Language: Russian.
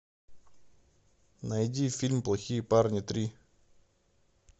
найди фильм плохие парни три